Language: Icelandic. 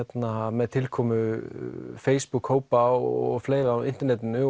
með tilkomu Facebook hópa og fleira á internetinu